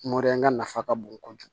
ŋa nafa ka bon kojugu